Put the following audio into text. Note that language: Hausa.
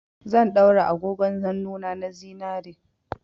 Zan daura agogon hannuna na zinare.